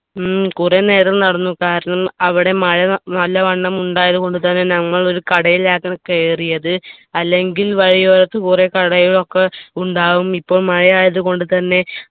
ഉം കുറെ നേരം നടന്നു കാരണം അവിടെ മഴ നല്ലവണ്ണം ഉണ്ടായതു കൊണ്ട് തന്നെ നമ്മൾ ഒരു കടയിലാക്ണ് കേറിയത് അല്ലെങ്കിൽ വഴിയോരത്ത് കുറെ കടയിലൊക്കെ ഉണ്ടാവും ഇപ്പൊ മഴ ആയത്കൊണ്ടു തന്നെ